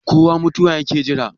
kowa mutuwa yake Jira